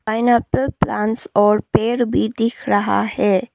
Pineapple plants और पेड़ भी दिख रहा है।